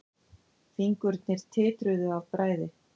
Fingurnir titruðu af bræði.